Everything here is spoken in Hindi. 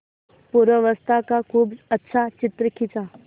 पूर्वावस्था का खूब अच्छा चित्र खींचा